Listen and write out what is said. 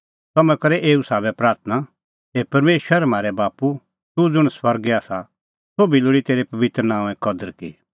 तम्हैं करै एऊ साबै प्राथणां हे परमेशर म्हारै बाप्पू तूह ज़ुंण स्वर्गै आसा सोभी लोल़ी तेरै पबित्र नांओंए कदर की